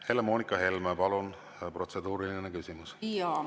Helle-Moonika Helme, palun, protseduuriline küsimus!